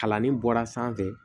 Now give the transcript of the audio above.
Kalannin bɔra sanfɛ